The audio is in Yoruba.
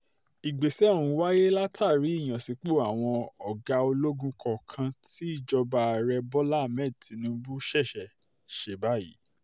ìgbésẹ̀ ọ̀hún wáyé látàrí ìyànsípò àwọn ọ̀gá ológun kọ̀ọ̀kan tí ìjọba ààrẹ bọ́lá ahmed tinubu ṣẹ̀ṣẹ̀ ṣe báyìí